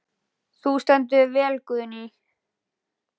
Þú stendur þig vel, Guðný!